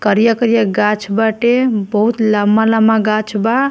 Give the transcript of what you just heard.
करिया-करिया गाछ बाटे बहुत लम्बा-लम्बा गाछ बा।